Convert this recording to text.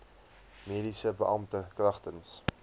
mediese beampte kragtens